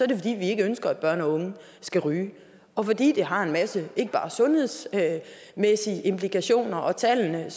det fordi vi ikke ønsker at børn og unge skal ryge og fordi det har en masse andre end bare sundhedsmæssige implikationer og tallene